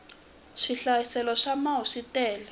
swihlayiselo swa mau swi tele